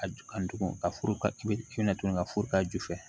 A ju kan tugun ka furu ka furu ka ju fɛ